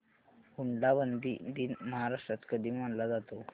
हुंडाबंदी दिन महाराष्ट्रात कधी मानला जातो